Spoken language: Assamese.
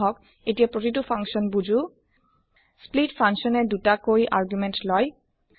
আহক এতিয়া প্ৰতিটো ফাংচন বুজো স্প্লিট ফাংচন এ ২টা কৈ আৰ্গুমেণ্ট লয়